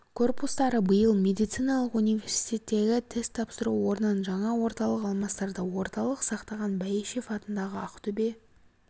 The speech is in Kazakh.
корпустары биыл медициналық университеттегі тест тапсыру орнын жаңа орталық алмастырды орталық сақтаған бәйішев атындағы ақтөбе